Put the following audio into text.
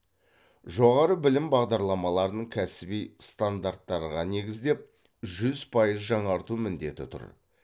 жоғары білім бағдарламаларын кәсіби стандарттарға негіздеп жүз пайыз жаңарту міндеті тұр